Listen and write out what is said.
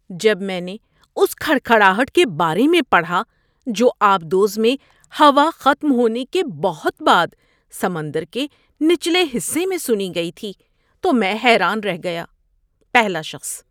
جب میں نے اس کھڑکھڑاہٹ کے بارے میں پڑھا جو آب دوز میں ہوا ختم ہونے کے بہت بعد سمندر کے نچلے حصے میں سنی گئی تھی تو میں حیران رہ گیا۔ (پہلا شخص)